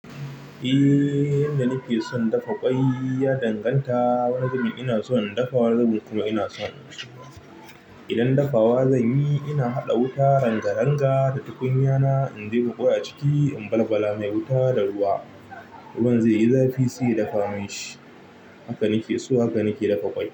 Eh, yanda nake son dafa ƙwai ya danganta. Wani zubin ina so in dafa, wani zubin kuma ina so in soya idan dafa wa zanyi ina haɗa wuta, rangaranga da tukunya na in jeɓa ƙwai a ciki in balbala mai wuta da ruwa. Ruwan zaiyi zafi sai ya dafa min shi haka nake so haka nake dafa ƙwai.